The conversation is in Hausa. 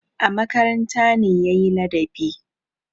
A makaranta ne ya yi ladabi.